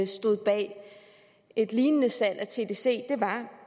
stod bag et lignende salg af tdc var